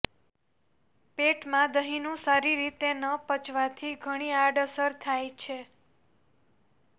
પેટમાં દહીંનું સારી રીતે ન પચવાથી ઘણી આડઅસર થાય છે